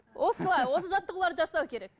осылай осы жаттығуларды жасау керек